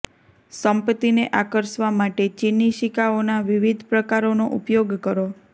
સંપત્તિને આકર્ષવા માટે ચીની સિક્કાઓના વિવિધ પ્રકારોનો ઉપયોગ કરો